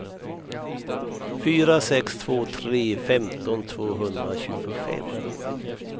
fyra sex två tre femton tvåhundratjugofem